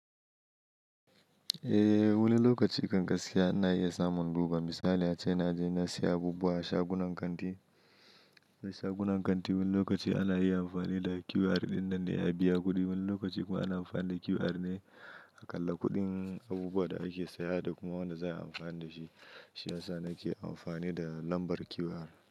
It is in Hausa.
Eh wani lokaci kan gaskiya ina iya samun lubar. Misali a ace na je na siya abubuwa a sha gunan kanti. Mai shagunan kanti Wani lokaci ana iya amfani da QR ɗin nan dan a biya kuɗi. Wani lokaci kuma ana amfani da QR ne a ƙalla kuɗin abubuwan da ake saya da kuma wanda za ai amfani da shi. Shi ya sa nake amfani da lambar QR.